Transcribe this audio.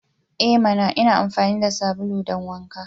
E mana! Ina amfani da sabulu don wanka.